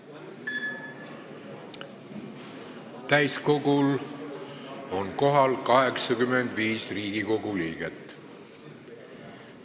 Kohaloleku kontroll Täiskogul on kohal 85 Riigikogu liiget.